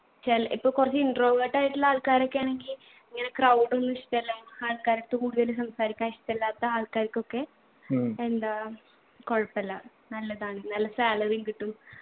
ചില ഇപ്പൊ കുറച്ച് introvert ആയിട്ടുള്ള ആൾക്കാരൊക്കെയാണെങ്കി ഇങ്ങനെ crowd ഒന്നും ഇഷ്ടല്ല ആൾക്കാരടുത്ത് കൂടുതലും സംസാരിക്കാൻ ഇഷ്ടല്ലാത്ത ആൾക്കാർക്കൊക്കെ എന്താ കൊഴപ്പല്ല നല്ലതാണ് നല്ല salary യും കിട്ടും